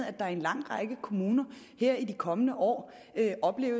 at der i en lang række kommuner her i de kommende år